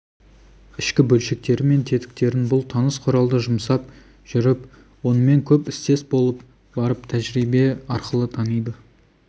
ішкі бөлшектері мен тетіктерін бұл таныс құралды жұмсап жүріп онымен көп істес болып барып тәжірибе арқылы таниды